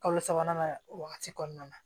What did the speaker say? Kalo sabanan wagati kɔnɔna na